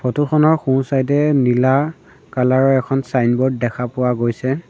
ফটোখনৰ সোঁ চাইড এ নীলা কলাৰ ৰ এখন ছাইনবোৰ্ড দেখা পোৱা গৈছে।